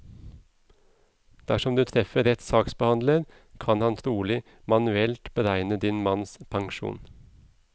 Dersom du treffer rett saksbehandler, kan han trolig manuelt beregne din manns pensjon.